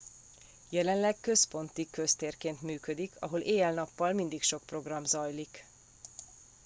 jelenleg központi köztérként működik ahol éjjel nappal mindig sok program zajlik